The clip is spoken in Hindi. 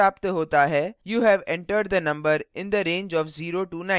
you have entered the number in the range of 09